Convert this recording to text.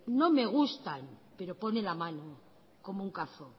no me gustan pero pone la mano como un cazo